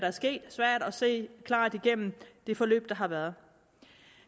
se klart igennem det forløb der har været